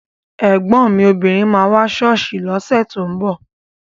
Ẹ̀gbọ́n mi obìnrin máa wá sí ṣọ́ọ̀ṣì lọ́sẹ̀ tó ń bọ̀